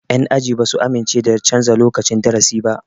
Yan aji ba su amince da canja lokacin darasi ba